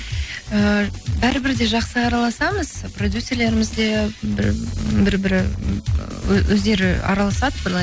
ііі бәрі бір де жақсы араласамыз продюсерлеріміз де бір бірі өздері араласады былай